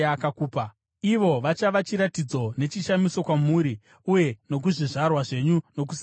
Ivo vachava chiratidzo nechishamiso kwamuri uye nokuzvizvarwa zvenyu nokusingaperi.